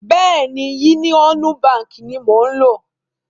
Bẹ́ẹ̀ni, Yúníọ́nú baǹkì ni mò ń lò.